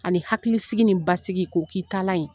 Ani hakili sigi nin basigi k'o k'i taalan yen.